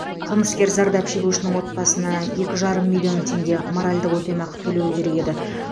қылмыскер зардап шегушінің отбасына екі жарым миллион теңге моральдық өтемақы төлеуі керек еді